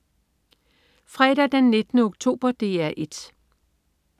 Fredag den 19. oktober - DR 1: